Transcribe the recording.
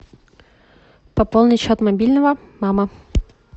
пополнить счет мобильного мама